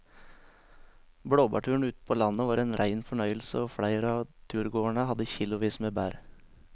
Blåbærturen ute på landet var en rein fornøyelse og flere av turgåerene hadde kilosvis med bær.